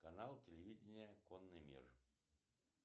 канал телевидение конный мир